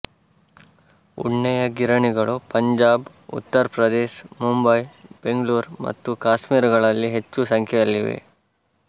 ಉಣ್ಣೆಯ ಗಿರಣಿಗಳು ಪಂಜಾಬ್ ಉತ್ತರ ಪ್ರದೇಶ ಮುಂಬಯಿ ಬೆಂಗಳೂರು ಮತ್ತು ಕಾಶ್ಮೀರಗಳಲ್ಲಿ ಹೆಚ್ಚು ಸಂಖ್ಯೆಯಲ್ಲಿವೆ